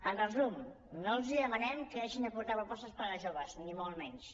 en resum no els demanem que deixin de portar propostes per a joves ni molt menys